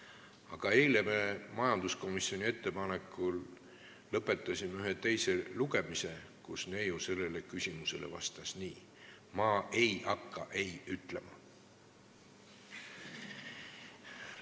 " Aga eile me lõpetasime majanduskomisjoni ettepanekul ühe eelnõu teise lugemise, mispuhul neiu sellele küsimusele vastas nii: "Ma ei hakka ei ütlema.